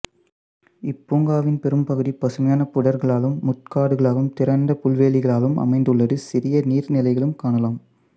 இப்பூங்காவின் பெரும்பகுதி பசுமையான புதர்களாலும் முட்காடுகளாலும் திறந்த புல்வெளிகளாலும் அமைந்துள்ளது சிறிய நீர்நிலைகளையும் காணலாம்